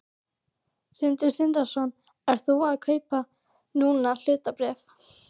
Sindri Sindrason: Ert þú að kaupa núna hlutabréf?